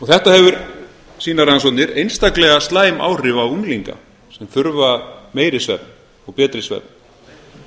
þetta hefur sýna rannsóknir einstaklega slæm áhrif á unglinga sem þurfa meiri svefn og betri svefn